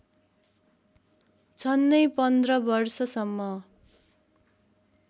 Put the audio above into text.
झन्नै पन्ध्र वर्षसम्म